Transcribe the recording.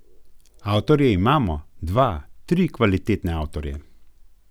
Avtorje imamo, dva, tri kvalitetne avtorje.